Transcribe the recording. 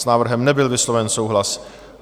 S návrhem nebyl vysloven souhlas.